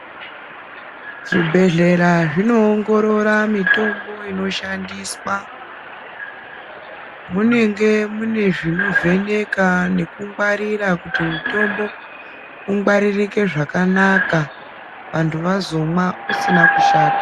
Zvibhedhlera zvinoongorora mitombo inoshandiswa munenge mune zvinovheneka nekungwarira kuti mutombo ungwaririke zvakanaka vanthu vazomwa usina kushata.